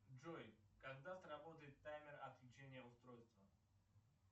джой когда сработает таймер отключения устройства